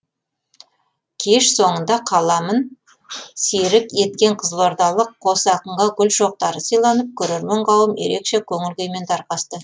кеш соңында қаламын серік еткен қызылордалық қос ақынға гүл шоқтары сыйланып көрермен қауым ерекше көңіл күймен тарқасты